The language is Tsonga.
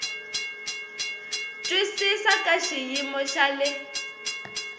twisisa ka xiyimo xa le